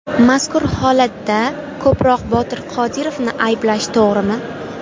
Mazkur holatda ko‘proq Botir Qodirovni ayblash to‘g‘rimi?